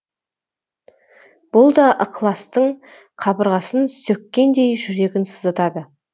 бұл да ықыластың қабырғасын сөккендей жүрегін сыздатады